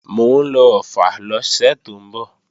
Mò ń lọ Ọ̀ffà lọ́sẹ̀ tó ń bọ̀